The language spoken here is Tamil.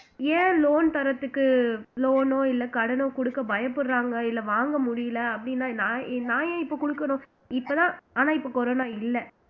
ஏன் loan தர்றதுக்கு loan ஓ இல்ல கடனோ கொடுக்க பயப்படுறாங்க இல்ல வாங்க முடியலை அப்படின்னா நான் ஏன் இப்போ கொடுக்கணும் இப்பதான் ஆனா இப்ப corona இல்ல